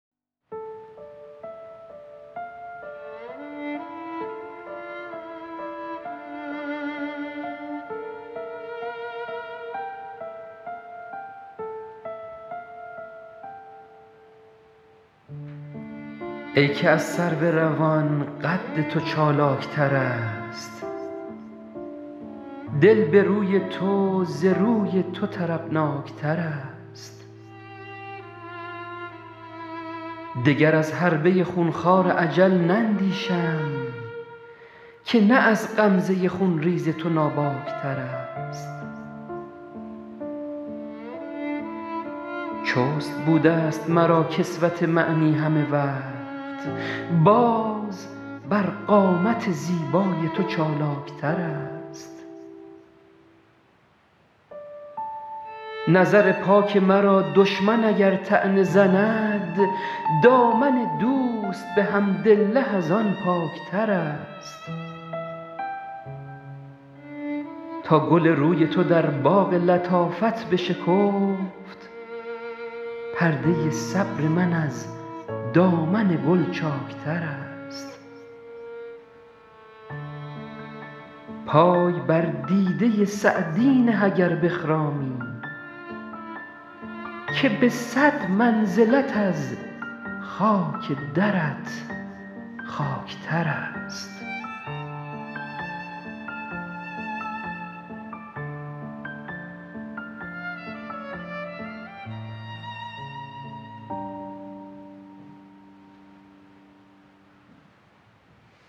ای که از سرو روان قد تو چالاک ترست دل به روی تو ز روی تو طربناک ترست دگر از حربه خون خوار اجل نندیشم که نه از غمزه خون ریز تو ناباک ترست چست بوده ست مرا کسوت معنی همه وقت باز بر قامت زیبای تو چالاک ترست نظر پاک مرا دشمن اگر طعنه زند دامن دوست به حمدالله از آن پاک ترست تا گل روی تو در باغ لطافت بشکفت پرده صبر من از دامن گل چاک ترست پای بر دیده سعدی نه اگر بخرامی که به صد منزلت از خاک درت خاک ترست